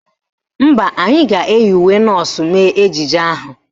Mba, anyị ga-eyi uwe nọọsụ mee ejije ahụ